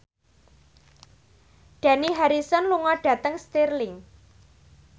Dani Harrison lunga dhateng Stirling